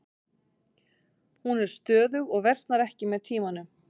Hún er stöðug og versnar ekki með tímanum.